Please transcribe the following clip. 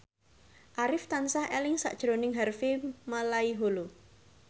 Arif tansah eling sakjroning Harvey Malaiholo